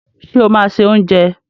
Ṣé o máa se oúnjẹ?